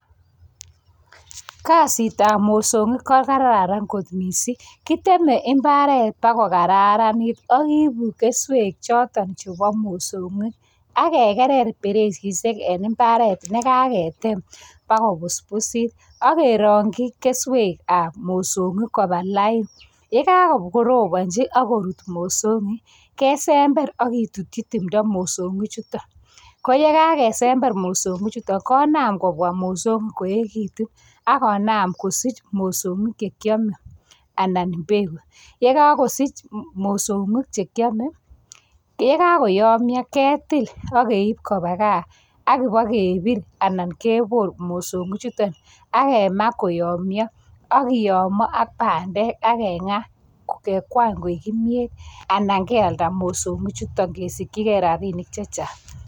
Kasitab mosoong'iik ko kararan kot missing, kiteme imbaret bak kokararanit, ak ibuprofen keswek choton chebo mosoong'ik, ak kegerer bereisisiek, en imbaret nekaketeem bakoi kobusbusit. Ak keroongyii keswekab mosong'ik kobalain, yekakorobonyii ak korut mosong'iik kesember ak kitutyii timdoo mosong'iikchuton. Koye, kakesember mosongichuton konaam kobwa mosoongiik koekitun, ak konam kosich mosong'iik chekiome, anan beek. Ye kokosich mosong'iik, chekiome, yekokoyomyo ketil ak keib kobaa gaa, ak ibokebiir, Aman keboor mosong'ik chuton ak kema koyoomyo. Ak kiyomo ak bandek, ak keng'aa kekwany koik kimyet. Anan kealdaa mosong'ichutonkesikyigei rabinik chechang.